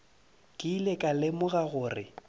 ke ile ka lemoga gore